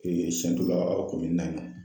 Siyɛntu Ka komini na ni